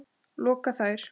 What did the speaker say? loka þær.